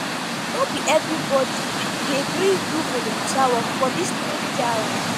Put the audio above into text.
no be everybodi dey gree do volunteer work for dis naija.